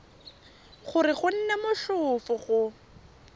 gore go nne motlhofo go